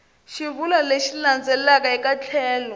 xivulwa lexi landzelaka eka tlhelo